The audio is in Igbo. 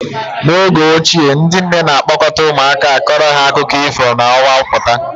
N'oge ochie ndị nne na-a kpọkọta ụmụaka akọrọ ha akụkọ ifo ma ọnwa pụta.